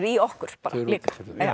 í okkur bara líka